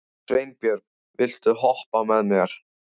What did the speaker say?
Sveinbjörg, viltu hoppa með mér?